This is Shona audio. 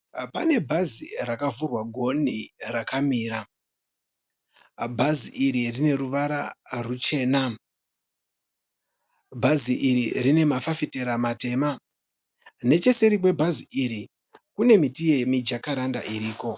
Pane bhazi rakavhurwa goni rakamira. Bhazi iri rineruvara ruchena. Bhazi iri rinemafafitera matema. Necheseri kwebhazi iri kune miti yemijakaranda iriko.